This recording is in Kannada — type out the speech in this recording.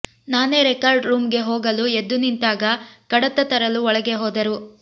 ನಾನೇ ರೆಕಾರ್ಡ್ ರೂಮ್ಗೆ ಹೋಗಲು ಎದ್ದು ನಿಂತಾಗ ಕಡತ ತರಲು ಒಳಗೆ ಹೋದರು